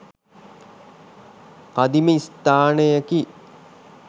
කදිම ස්ථානයකි.